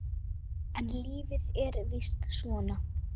En lífið er víst svona.